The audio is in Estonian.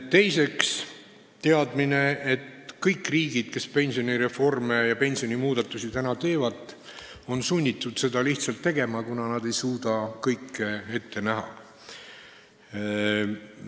Teiseks on teada, et kõik riigid, kes pensionireforme ja muid pensionimuudatusi praegu teevad, on lihtsalt sunnitud seda tegema, kuna nad ei suuda kõike ette näha.